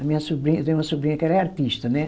A minha sobrinha, tenho uma sobrinha que ela é artista, né?